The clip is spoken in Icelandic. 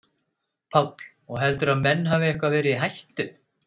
Páll: Og heldurðu að menn hafi eitthvað verið í hættu?